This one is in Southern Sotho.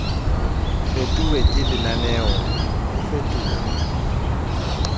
fetuwe ke lenaneo o fetuwe